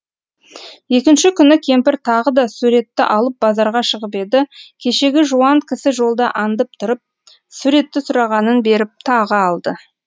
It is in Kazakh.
екінші күні кемпір тағы да суретті алып базарға шығып еді кешегі жуан кісі жолда аңдып тұрып суретті сұрағанын беріп тағы алды